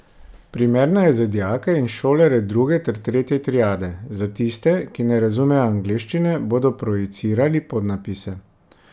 Primerna je za dijake in šolarje druge ter tretje triade, za tiste, ki ne razumejo angleščine, bodo projicirali podnapise.